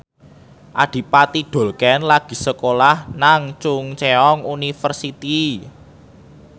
Adipati Dolken lagi sekolah nang Chungceong University